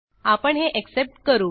आपण हे एक्सेप्ट करू